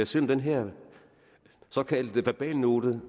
selv om den her såkaldte verbalnote